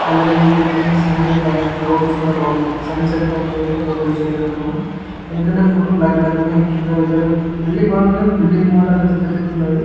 Colouring paintings and పైన clouds కూడా బాగున్నాయి. సన్ సెట్ టైం లో అయితే ఫోటో తీసిండ్రు అనుకుంటున్నా. ఎందుకంటే ఫోటో బ్లాక్ బ్లాక్ వుంది అండ్ కింద వెధర్ బిల్డింగ్ బానే ఉంది కానీ బిల్డింగ్ మోడల్ చెత్త చెత్తగ వుంది.